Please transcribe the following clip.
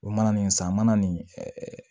O mana nin san mana nin